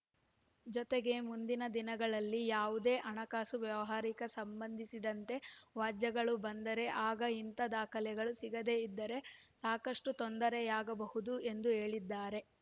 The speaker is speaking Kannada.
ಜೊತೆಗೆ ಮುಂದಿನ ದಿನಗಳಲ್ಲಿ ಯಾವುದೇ ಹಣಕಾಸು ವ್ಯವಹಾರಕ್ಕ ಸಂಬಂಧಿಸಿದಂತೆ ವ್ಯಾಜ್ಯಗಳು ಬಂದರೆ ಆಗ ಇಂಥ ದಾಖಲೆಗಳು ಸಿಗದೇ ಇದ್ದರೆ ಸಾಕಷ್ಟುತೊಂದರೆಯಾಗಬಹುದು ಎಂದು ಹೇಳಿದ್ದಾರೆ